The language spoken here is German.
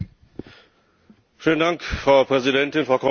Frau Präsidentin, Frau Kommissarin, liebe Kolleginnen und Kollegen!